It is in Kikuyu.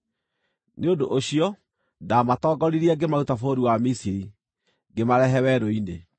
Nĩ ũndũ ũcio ndaamatongoririe ngĩmaruta bũrũri wa Misiri, ngĩmarehe werũ-inĩ.